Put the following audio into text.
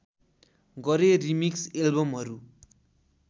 गरे रिमिक्स एल्बमहरू